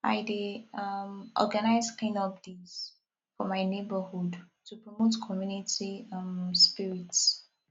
i dey um organize cleanup days for my neighborhood to promote community um spirit